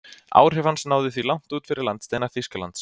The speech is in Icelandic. Áhrif hans náðu því langt út fyrir landsteina Þýskalands.